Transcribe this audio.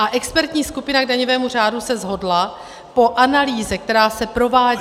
A expertní skupina k daňovému řádu se shodla, po analýze, která se provádí -